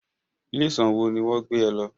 Ilé ìwòsàn wo ní wọ́n gbé e lọ